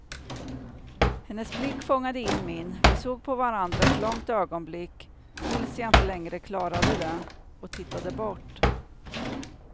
Hennes blick fångade in min, vi såg på varandra ett långt ögonblick tills jag inte längre klarade det och tittade bort.